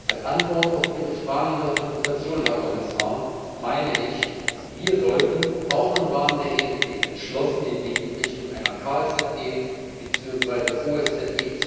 Als Antwort auf Ihre Fragen in der Konsultation, Herr Kommissar, meine ich, sollten wir auch im Rahmen der ENP entschlossen den Weg in Richtung einer KSZE beziehungsweise OSZE